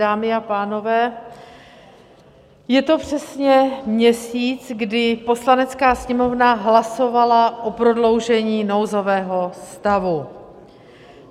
Dámy a pánové, je to přesně měsíc, kdy Poslanecká sněmovna hlasovala o prodloužení nouzového stavu.